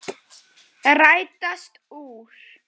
Rætast úr?